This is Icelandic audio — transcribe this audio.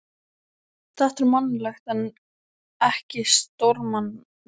Þetta er mannlegt en ekki stórmannlegt.